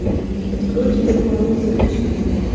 откройте дед мороз запусти